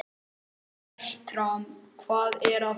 Fertram, hvað er að frétta?